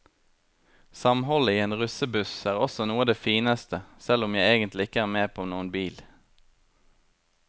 Samholdet i en russebuss er også noe av det fineste, selv om jeg egentlig ikke er med på noen bil.